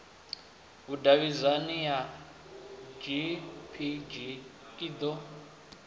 vhudavhidzano ya gpg i ḓo